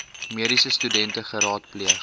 mediese studente geraadpleeg